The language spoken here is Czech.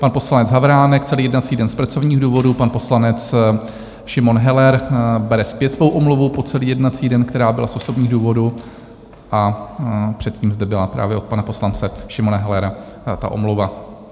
Pan poslanec Havránek - celý jednací den z pracovních důvodů, pan poslanec Šimon Heller bere zpět svou omluvu po celý jednací den, která byla z osobních důvodů, a předtím zde byla právě od pana poslance Šimona Hellera ta omluva.